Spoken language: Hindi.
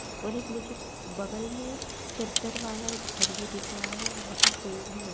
और एक मुझे बगल में चद्दर वाला एक घर भी दिख रहा है और वहाँ पर पेड़ हैं --